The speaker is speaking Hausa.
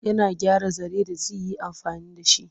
Yana gyara zare da zi yi amfani da shi.